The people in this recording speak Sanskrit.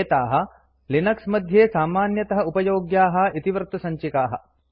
एताः लिनक्स मध्ये सामान्यतः उपयोग्याः इतिवृत्तसञ्चिकाः